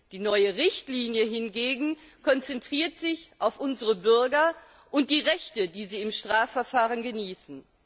Die neue Richtlinie hingegen konzentriert sich auf unsere Bürger und die Rechte, die sie im Strafverfahren genießen.